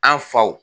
An faw